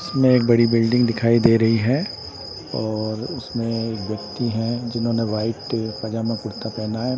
इसमें एक बड़ी बिल्डिंग दिखाई दे रही है और उसमें एक व्यक्ति हैं जिन्होंने वाइट पजामा कुर्ता पहना है।